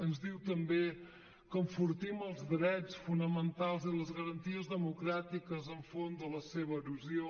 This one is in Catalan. ens diu també que enfortim els drets fonamentals i les garanties democràtiques enfront de la seva erosió